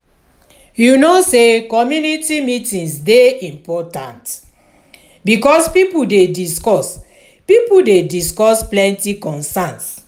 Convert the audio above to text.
you know sey community meetings dey important bikos pipo dey discuss pipo dey discuss plenty concerns.